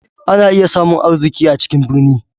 Ana iya samun arziki a cikin birni.